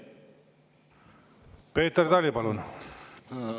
Peeter Tali, palun!